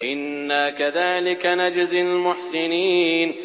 إِنَّا كَذَٰلِكَ نَجْزِي الْمُحْسِنِينَ